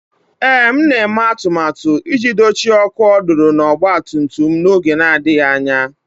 Ee, m na-eme atụmatụ iji dochie ọkụ ọdụdụ na ọgba tum tum m n'oge na-adịghị anya